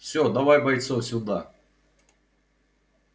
всё давай бойцов сюда